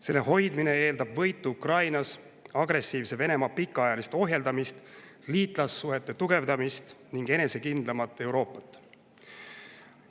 Selle hoidmine eeldab võitu Ukrainas, agressiivse Venemaa pikaajalist ohjeldamist, liitlassuhete tugevdamist ning enesekindlamat Euroopat.